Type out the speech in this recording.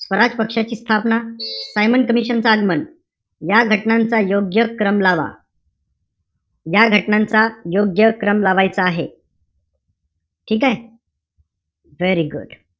स्वराज पक्षाची स्थापना, Simon commission च आगमन, या घटनांचा योग्य क्रम लावा. या घटनांचा योग्य क्रम लावायचा आहे. ठीकेय? very good.